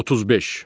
35.